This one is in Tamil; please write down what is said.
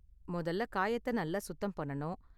முதல்ல காயத்த நல்லா சுத்தம் பண்ணணும்.